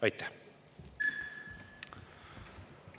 Aitäh!